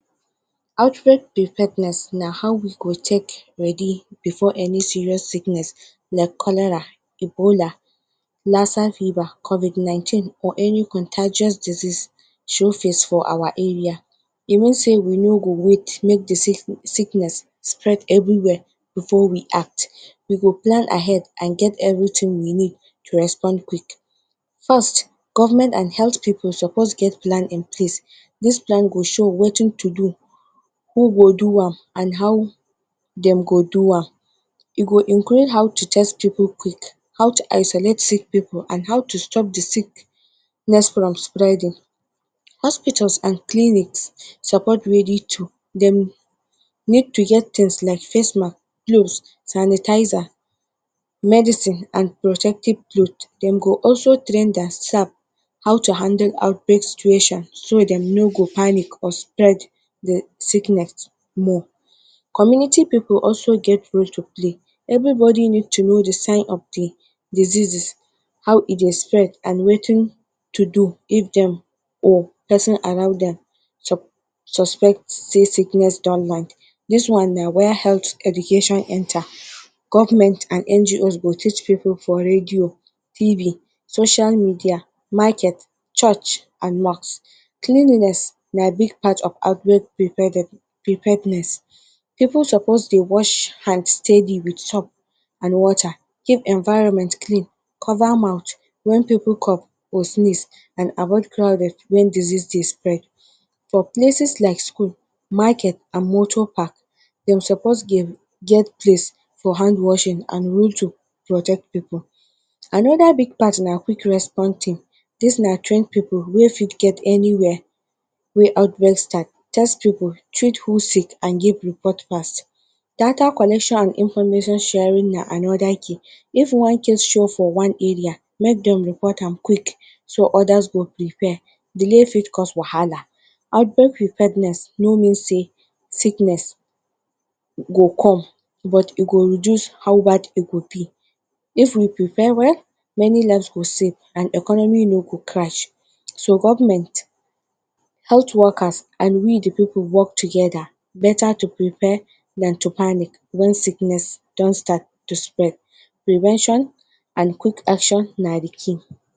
Outbreak preparedness na how we go take ready before any serious sickness like cholera, Ebola lassa-fever, Covid-19 or any contagious disease show face for our area, e mean say we no go wait make d sickness spread everywhere before we act, we go plan ahead everything we need to respond quick. First government and health people suppose get plan in place, dis plan go show Wetin to do, who go do am, and how dem go do am, e go include how to test people quick, how to isolate people and how to stop d sickness from spreading. Hospitals and clinics suppose to ready too, dem suppose to get things like face mask, gloves, sanitizer, medicine and protective cloth dem go also train their staff how to handle outbreak situation, so dem no go panic or spread the sickness more, community people also get role to play, everybodi need to know the sign of d diseases, how e dey spread and Wetin to do if dem or persin around dem suspect say sickness don land, this one na where health education enter, government and NGO go teach people for radio, TV, social media, market, church, and mosque. Cleanliness na big part of outbreak preparedness, people suppose dey wash hand steady with soap and water, keep environment clean, cover mouth wen people cough or sneeze and avoid crowded wen disease dey spread. For places like school, market and moto park, dem suppose dey get place for hand washing and rule to protect people. Anoda big part na quick response team, this na trained people wey fit get anywhere outbreak start, test people, treat people and give report fast. Data collection and information sharing na anoda key, if one case show for one area make dem report am quick so others go prepare, delay if cause wahala, outbreak preparedness no mean say sickness go come but e go reduce how bad e go b, if we prepare well, many life go safe and economy no go crash so government, health workers and we d people work together, beta to prepare Dan to panic wen sickness don start to spread, prevention and quick action na d key.